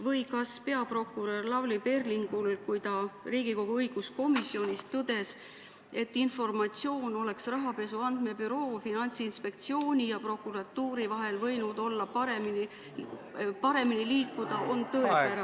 Või kas peaprokurör Lavly Perlingu ütlus, kui ta Riigikogu õiguskomisjonis tõdes, et informatsioon oleks rahapesu andmebüroo, Finantsinspektsiooni ja prokuratuuri vahel võinud paremini liikuda, on tõepärane?